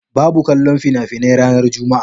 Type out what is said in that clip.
Babu kallon fina-finai ranar Juma'a.